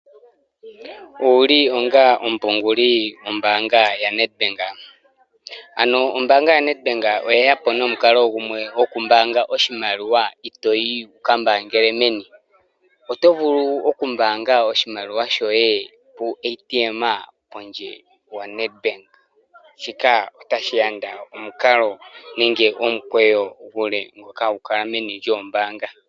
Owuli onga omupunguli gwombaanga ya Nedbank? Aano ombaanga ya Nedbank oyeyapo nomukalo gumwe gwokumbaanga oshimaliwa ito yi wu ka mbaangele meni. Otovulu oku mbaanga oshimaliwa shoye puu ATM pondje, wo Nedbank. Shika ota shi yanda omukalo nenge omukweyo omule, ngoka ha gu kala meni lyoombaanga.